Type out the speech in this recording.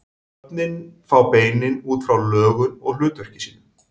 Nöfnin fá beinin út frá lögun og hlutverki sínu.